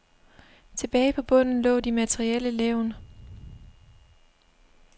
Tilbage på bunden lå de materielle levn.